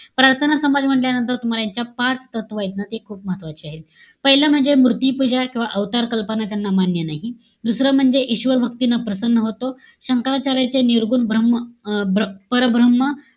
प्रार्थना समाज म्हण्टल्यानंतर, तुम्हाला यांच्या पाच तत्वयेत ना. ते खूप महत्वाची आहेत. पाहिलं म्हणजे, मूर्ती पूजा किंवा अवतार कल्पना त्यांना मान्य नाही. दुसरं म्हणजे, ईश्वरवभक्तीने प्रसन्न होतो. शंकराचार्यांचे निर्गुण ब्रम्ह अं परब्रम्ह,